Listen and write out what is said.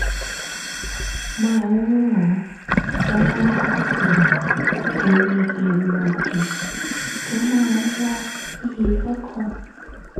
máa ń ràn án lọ́wọ́ láti borí èrò òdì tó máa ń wá sí i lọ́kàn